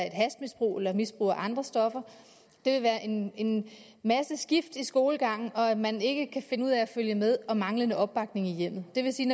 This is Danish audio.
et hashmisbrug eller misbrug af andre stoffer en masse skift i skolegangen at man ikke kan finde ud af at følge med og manglende opbakning i hjemmet det vil sige